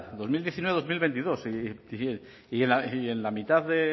dos mil diecinueve dos mil veintidós y en la mitad de